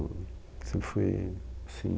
Sempre fui, assim...